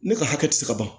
Ne ka hakɛ te se ka ban